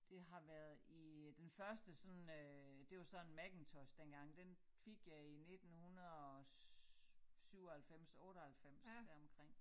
Det har været i den første sådan øh det var så en Macintosh dengang den fik jeg i 1997 98 deromkring